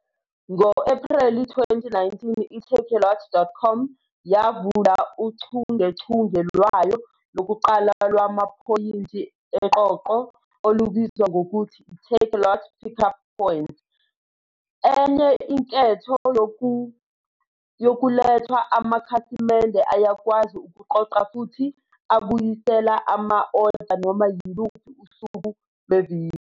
Ngo-Ephreli 2019 i-takealot.com yavula uchungechunge lwayo lokuqala lwamaphoyinti eqoqo, olubizwa ngokuthi i-Takealot Pickup Points. Enye inketho yokulethwa, amakhasimende ayakwazi ukuqoqa futhi abuyisele ama-oda noma yiluphi usuku lweviki.